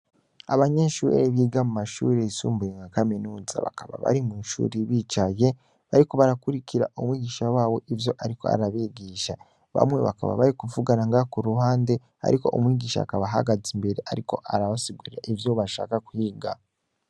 Abanyeshure biga mu mashure yisumbuye nka kaminuza, bakaba bari mw'ishure bicaye, bariko barakurikira umwigisha wabo ariko arabigisha, bamwe bakaba bari kuvugana ngaho k'uruhande, ariko umwigisha akaba ahagaze imbere ariko arabasigurira ivyo bashaka kwiga.